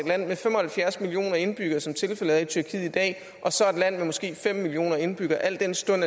land med fem og halvfjerds millioner indbyggere som tilfældet er med tyrkiet i dag og så et land med måske fem millioner indbyggere al den stund